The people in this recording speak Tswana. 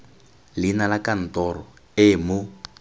leina la kantoro e mo